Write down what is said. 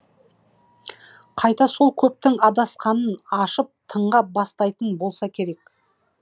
қайта сол көптің адасқанын ашып тыңға бастайтын болса керек